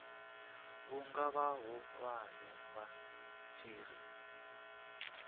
vhunga vhahulwane vha tshi ri